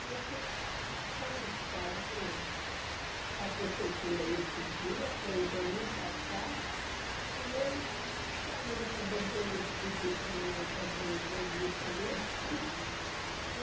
Aí eu tive que expor esse caso para o para a Prefeitura aí esses dias, foi domingo passado, e eles caíram na bobeira de pedir para mim fazer uma entrevista ali.